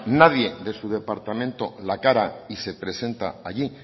nadie de su departamento la cara y se presenta allí